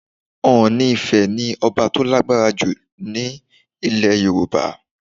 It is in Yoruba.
Ọọ̀ni Ifẹ̀ ni ọba tó lágbára jù lọ ní ilẹ̀ Yorùbá.